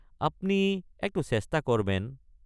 আপনি একটু চেষ্টা কৰ্ বেন।